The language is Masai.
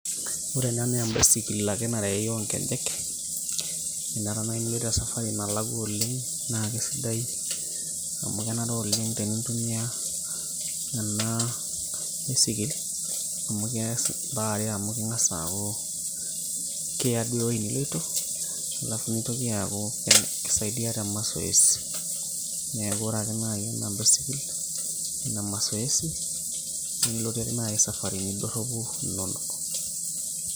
ore ena naa embaisikil ake narei onkejek ninye ena ore esafari nalakua oleng naa kisidai amu kenare oleng tenintumia ena bisikil amu kees imbaa are amu keng'as aaku kiya duo ewueji niloito alafu nitoki aaku kisaidia te masoesi niaku ore sake naaji ena basikil ene masoesi nilotie naaji isafarini dorropu inonok.